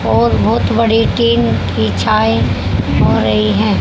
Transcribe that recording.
और बहोत बड़े केन कि चाय हो रही है।